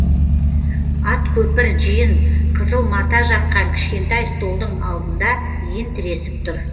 ат көпір жиын қызыл мата жапқан кішкентай столдың алдында иін тіресіп тұр